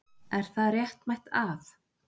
Er það réttmætt að.